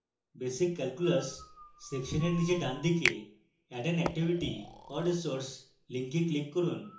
basic calculus section এর নীচে ডানদিকে add an activity or resource link click করুন